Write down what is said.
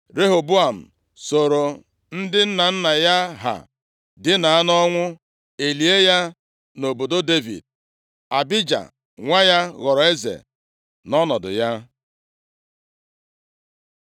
Rehoboam sooro ndị nna nna ya ha dina nʼọnwụ, e lie ya nʼobodo Devid. Abija nwa ya ghọrọ eze nʼọnọdụ ya.